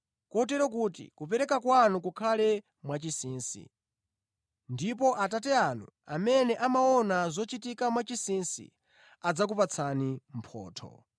kotero kuti kupereka kwanu kukhale mwachinsinsi. Ndipo Atate anu amene amaona zochitika mwachinsinsi, adzakupatsani mphotho.